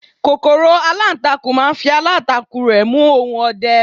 kòkòrò alantakun ma n fi alantakun rẹ mu ohun ọdẹ